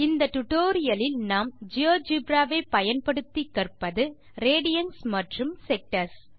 இந்த டுடோரியலில் நாம் ஜியோஜெப்ரா வை பயன்படுத்தி கற்பது ரேடியன்ஸ் மற்றும் செக்டர்ஸ்